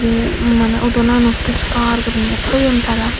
ye udon ano puriskar guriney thoyun tara.